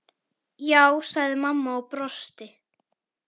Já, sagði mamma og brosti.